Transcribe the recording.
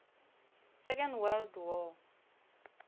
second world war